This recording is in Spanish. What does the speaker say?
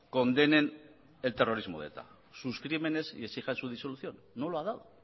condenen el terrorismo de eta sus crímenes y exijan su disolución no lo ha dado